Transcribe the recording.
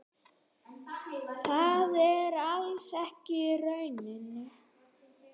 Það er alls ekki raunin.